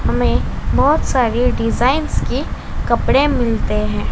हमें बहोत सारी डिजाइंस के कपड़े मिलते हैं।